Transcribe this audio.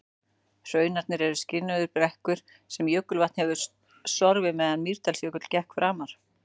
Hrunarnir eru skriðurunnar brekkur sem jökulvatn hefur sorfið meðan Mýrdalsjökull gekk framar.